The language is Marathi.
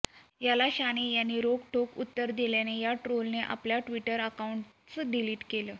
याला शहाणे यांनी रोखठोक उत्तर दिल्यानं त्या ट्रोलरने आपलं टि्वटर अकाऊंटच डिलीट केलं